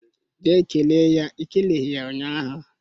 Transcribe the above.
Jee kelee ya I keleghi ya ụnyahụ